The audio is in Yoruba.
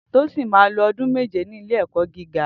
Tosin mà ló ọdún méjé ni ilé èkọ gigá